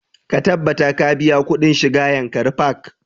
Ka tabbata ka biya kuɗin shiga yankari park!